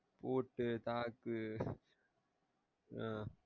ஓட்டு தாக்கு ஆஹ்